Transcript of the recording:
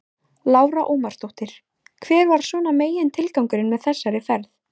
Lára Ómarsdóttir: Hver var svona megintilgangurinn með þessari ferð?